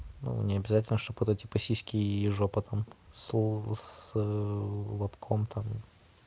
ну не обязательно что бы это типа сиськи и жопа там с с с лобком там